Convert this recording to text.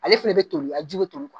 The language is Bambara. Ale fɛnɛ be toli a ji be toli kuwa